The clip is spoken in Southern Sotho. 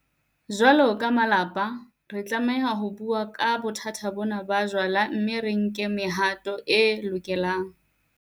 Jwalo ka malapa, re tlameha ho bua ka bothata bona ba jwala mme re nke le mehato e lokelang.